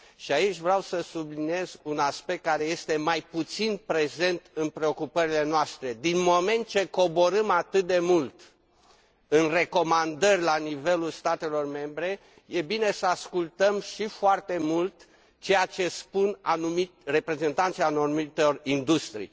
Aici vreau să subliniez un aspect care este mai puțin prezent în preocupările noastre din moment ce coborâm atât de mult în recomandări la nivelul statelor membre, e bine să ascultăm și foarte mult ceea ce spun reprezentanții anumitor industrii.